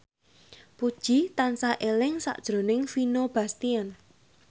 Puji tansah eling sakjroning Vino Bastian